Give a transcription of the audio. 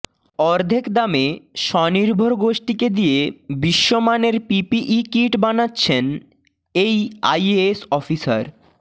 অর্ধেক দামে স্বনির্ভর গোষ্ঠীকে দিয়ে বিশ্বমানের পিপিই কিট বানাচ্ছেন এই আইএএস অফিসার